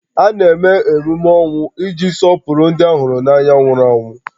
A na-eme emume ọnwụ iji sọpụrụ ndị ha hụrụ n'anya nwụrụ anwụ